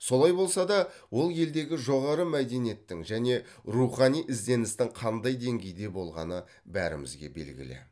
солай болса да ол елдегі жоғары мәдениеттің және рухани ізденістің қандай деңгейде болғаны бөрімізге белгілі